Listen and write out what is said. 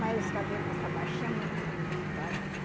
Mas os cabelo dessa baixinha é muito bonito, olha.